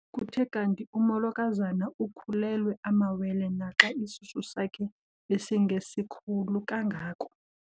Kuthe kanti umolokazana ukhulelwe amawele naxa isisu sakhe besingesikhulu kangako.